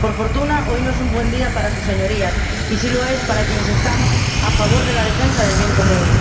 Por fortuna, hoy no es un buen día para sus señorías y sí lo es para quienes estamos a favor de la defensa del bien común.